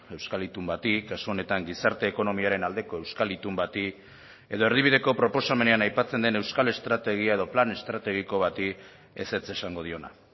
euskal itun bati kasu honetan gizarte ekonomiaren aldeko euskal itun bati edo erdibideko proposamenean aipatzen den euskal estrategia edo plan estrategiko bati ezetz esango diona